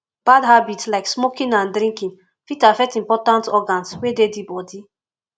bad habit like smoking and drinking fit affect important organs wey dey di body